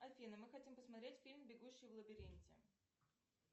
афина мы хотим посмотреть фильм бегущий в лабиринте